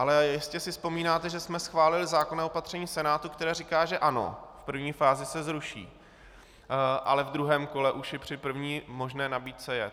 Ale jistě si vzpomínáte, že jsme schválili zákonné opatření v Senátu, které říká, že ano, v první fázi se zruší, ale v druhém kole už i při první možné nabídce je.